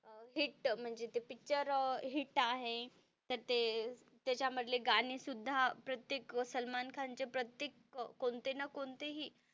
hit म्हणजे ते picture hit आहे तर ते त्याच्यामधले गाणे सुद्धा प्रत्येक सलमान खान चे प्रत्येक कोणते ना कोणते हि,